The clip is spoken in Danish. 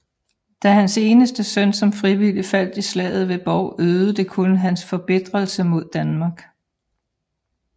Da hans eneste søn som frivillig faldt i slaget ved Bov øgede det kun hans forbitrelse mod Danmark